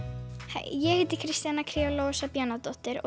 hæ ég heiti Kristjana kría Lovísa Bjarnadóttir og